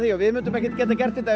við gætum ekki gert þetta